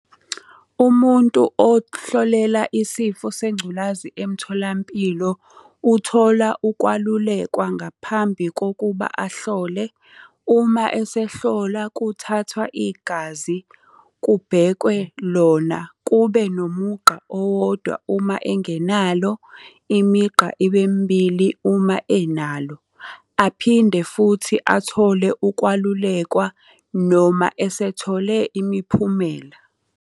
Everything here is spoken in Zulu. Umuntu ohlolela isifo sengculazi emtholampilo, uthola ukwalulekwa ngaphambi kokuba ahlole. Uma esehlola kuthathwa igazi, kubhekwe lona kube nomugqa owodwa uma engenalo, imigqa ibe mibili uma enalo. Aphinde futhi athole ukwalulekwa noma esethole imiphumela.